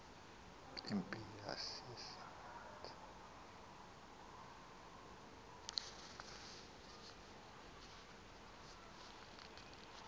impi yasisa yathi